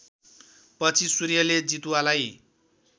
पछि सूर्यले जितुवालाई